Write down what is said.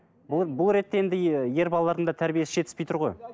бұл бұл ретте енді ер балалардың да тәрбиесі жетіспей тұр ғой